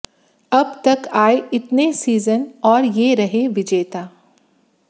अब तक आए इतने सीजन और ये रहे विजेता